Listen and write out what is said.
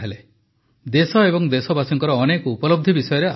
ଦେଶ ଓ ଦେଶବାସୀଙ୍କର ଅନେକ ଉପଲବ୍ଧି ବିଷୟରେ ଆଲୋଚନା କଲେ